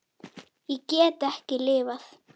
Ég get ekki lifað.